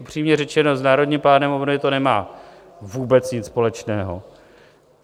Upřímně řečeno, s Národním plánem obnovy to nemá vůbec nic společného.